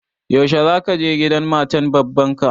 Yaushe za ka je gidan matan baban ka?